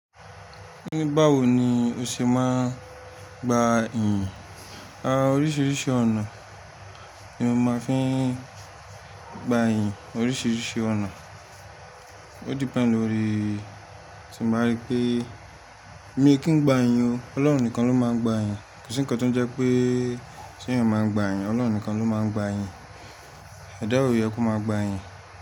Ní báwo ni o ṣe máa gba iyìn? Oríṣiríṣi ọ̀nà ni mo máa ń fi gba iyìn oríṣiríṣi ọ̀nà. O depend lórí tí mo bá rí pé mi kí ń gba iyìn o, Ọlọ́run nìkan ló máa ń gba iyìn. Kò sí ǹkan tó jẹ́ pé tí mo máa ń gba iyìn, Ọlọ́run nìkan ló máa ń gba iiyìn. Ẹ̀dá ò yẹ kó máa gba iiyìn.